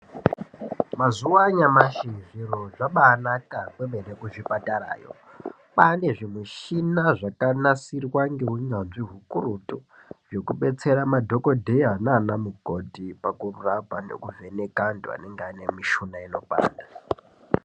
Mazuva anyamashi zviro zvabanaka kwemene kuzvipatarayo kwane zvimichina zvakanasirwa ngeunyanzvi hukurutu. Zvekubetsera madhogodheya nana mukoti pakurapa nekuvheneka antu anenge aine mishuna inopanda.